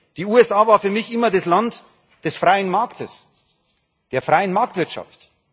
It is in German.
Die USA waren für mich immer das Land des freien Marktes, der freien Marktwirtschaft.